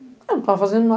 Eu não estava fazendo